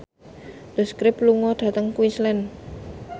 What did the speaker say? The Script lunga dhateng Queensland